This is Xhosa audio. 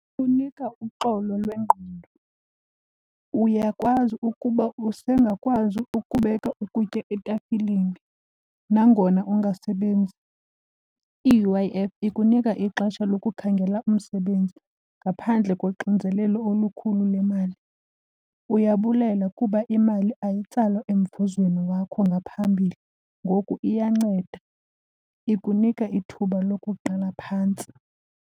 Ikunika uxolo lwengqondo. Uyakwazi ukuba usengakwazi ukubeka ukutya etafileni nangona ungasebenzi. I-U_I_F ikunika ixesha lokukhangela umsebenzi ngaphandle koxinzelelo olukhulu le mali. Uyabulela kuba imali ayitsalwa emvuzweni wakho ngaphambili ngoku iyanceda, ikunika ithuba lokuqala phantsi.